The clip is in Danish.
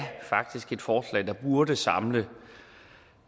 faktisk et forslag der burde samle